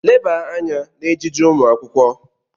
Leba anya n'ejiji ụmụ akwụkwọ!